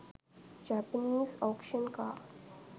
japanese auction car